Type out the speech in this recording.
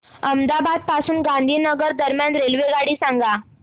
अहमदाबाद पासून गांधीनगर दरम्यान रेल्वेगाडी सांगा